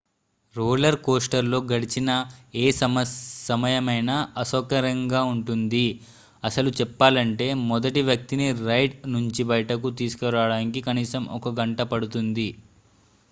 roller coaster లో గడిచిన ఏ సమయమైనా అసౌకర్యంగా ఉంటుంది అసలు చెప్పాలంటే మొదటి వ్యక్తిని రైడ్ నుంచి బయటకు తీసుకురావడానికి కనీసం ఒక గంట పడుతుంది